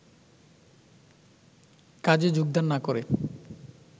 কাজে যোগদান না করে